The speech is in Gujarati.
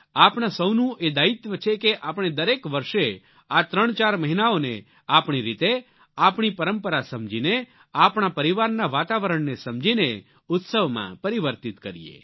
આપણા સૌનું એ દાયિત્વ છે કે આપણે દરેક વર્ષે આ ત્રણચાર મહિનાઓને આપણી રીતે આપણી પરંપરા સમજીને આપણા પરિવારના વાતાવરણને સમજીને ઉત્સવમાં પરિવર્તિત કરીએ